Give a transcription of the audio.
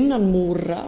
innan múra